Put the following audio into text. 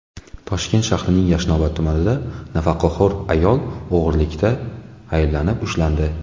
Toshkent shahrining Yashnobod tumanida nafaqaxo‘r ayol o‘g‘rilikda ayblanib ushlandi.